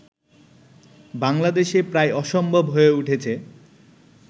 বাংলাদেশে প্রায় অসম্ভব হয়ে উঠেছে